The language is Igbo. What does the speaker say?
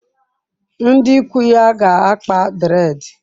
Ndi ikwu ya ga-akpa dreedi.